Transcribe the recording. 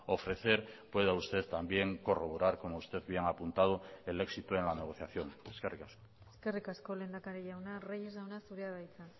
ofrecer pueda usted también corroborar como usted bien ha apuntado el éxito en la negociación eskerrik asko eskerrik asko lehendakari jauna reyes jauna zurea da hitza